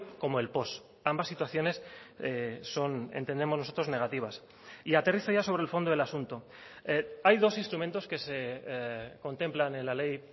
como el post ambas situaciones son entendemos nosotros negativas y aterrizo ya sobre el fondo del asunto hay dos instrumentos que se contemplan en la ley